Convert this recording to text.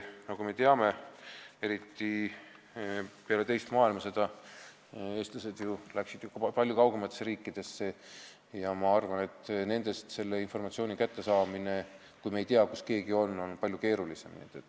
Nagu me teame, eriti peale teist maailmasõda läksid eestlased ju ka palju kaugematesse riikidesse ja sealt seda informatsiooni kätte saada, kui me ei tea, kus keegi on, on palju keerulisem.